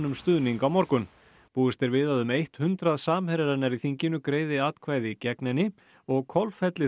um stuðning á morgun búist er við að um eitt hundrað samherjar hennar í þinginu greiði atkvæði gegn henni og